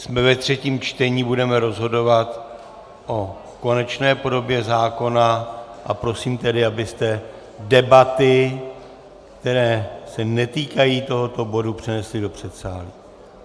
Jsme ve třetím čtení, budeme rozhodovat o konečné podobě zákona, a prosím tedy, abyste debaty, které se netýkají tohoto bodu, přenesli do předsálí.